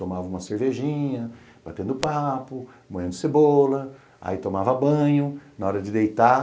Tomava uma cervejinha, batendo papo, moendo cebola, aí tomava banho, na hora de deitar,